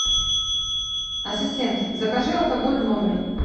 ассистент закажи алкоголь в номер